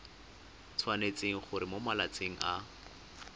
tshwanetse gore mo malatsing a